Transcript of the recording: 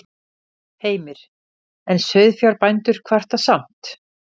Heimir: En sauðfjárbændur kvarta samt?